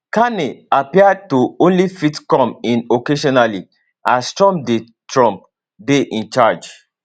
carney appear to only fit come in occasionally as trump dey trump dey in charge